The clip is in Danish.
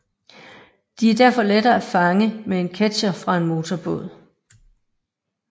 De er derfor lette at fange med en ketcher fra en motorbåd